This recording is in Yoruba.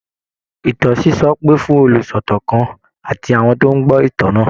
Ìtàn sísọ pè fún olùsọ̀tàn kan àti àwọn tó ń gbọ́ ìtàn náà